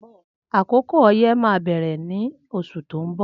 Akókó ọyẹ mà bẹrẹ ni óṣú tó n bọ